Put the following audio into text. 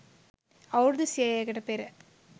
අවුරුදු සියයකට පෙර